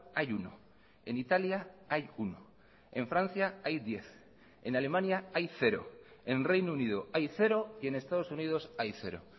hay uno en italia hay uno en francia hay diez en alemania hay cero en reino unido hay cero y en estados unidos hay cero